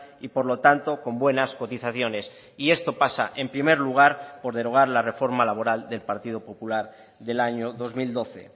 y por lo tanto con buenas cotizaciones y esto pasa en primer lugar por derogar la reforma laboral del partido popular del año dos mil doce